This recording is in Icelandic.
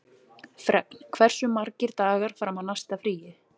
Fregn, hversu margir dagar fram að næsta fríi?